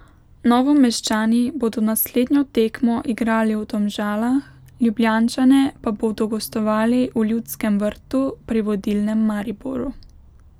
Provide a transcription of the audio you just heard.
Novomeščani bodo naslednjo tekmo igrali v Domžalah, Ljubljančane pa bodo gostovali v Ljudskem vrtu pri vodilnem Mariboru.